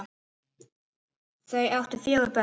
Þau áttu fjögur börn.